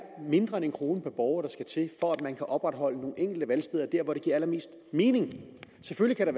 mindre end en kroner per borger der skal til for at man kan opretholde nogle enkelte valgsteder der hvor det giver allermest mening selvfølgelig